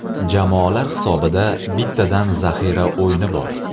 Jamoalar hisobida bittadan zaxira o‘yini bor.